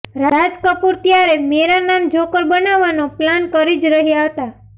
રાજ કપૂર ત્યારે મેરા નામ જોકર બનાવવાનો પ્લાન કરી જ રહ્યા હતા